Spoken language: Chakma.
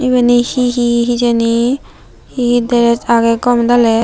yeni hee hee hijeni hee he he dres agey gomedaley.